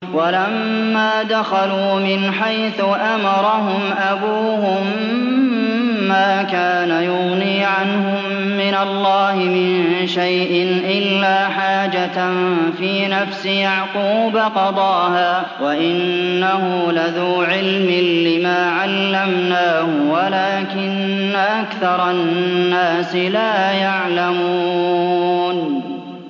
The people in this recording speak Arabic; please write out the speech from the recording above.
وَلَمَّا دَخَلُوا مِنْ حَيْثُ أَمَرَهُمْ أَبُوهُم مَّا كَانَ يُغْنِي عَنْهُم مِّنَ اللَّهِ مِن شَيْءٍ إِلَّا حَاجَةً فِي نَفْسِ يَعْقُوبَ قَضَاهَا ۚ وَإِنَّهُ لَذُو عِلْمٍ لِّمَا عَلَّمْنَاهُ وَلَٰكِنَّ أَكْثَرَ النَّاسِ لَا يَعْلَمُونَ